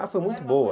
Ah, foi muito boa.